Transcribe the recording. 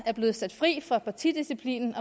er blevet sat fri af partidisciplinen